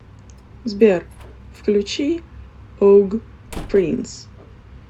сбер включи ог принс